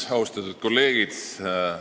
Austatud kolleegid!